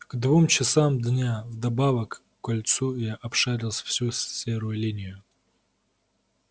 к двум часам дня вдобавок к кольцу я обшарил всю серую линию